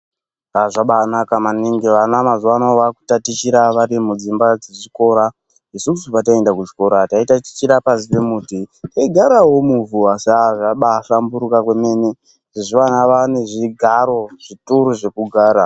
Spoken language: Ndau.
Zvabaanaka maningi vana mazuwa anaa vaakutatichira vari mudzimba dzezvikora. Isusu pataienda kuchikora taitachira pashi pemuti teigarawo muvhu asi aah zvambaahlamburuka kwemene. Mazuwa ano vaane zvigaro, zvituru zvekugara.